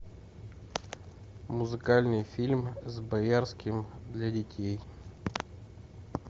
музыкальный фильм с боярским для детей